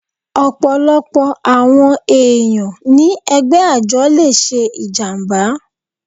Ọ̀pọ̀lọpọ̀ àwọn ẹ̀yàn ni ẹgbẹ́ àjọ le ṣe ìjàmbá.